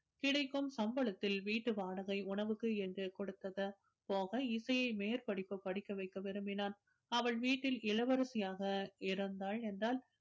கிடைக்கும் சம்பளத்தில் வீட்டு வாடகை உணவுக்கு என்று கொடுத்தது போக இசையை மேற்படிப்பு படிக்க வைக்க விரும்பினான் அவள் வீட்டில் இளவரசியாக இருந்தாள் என்றால்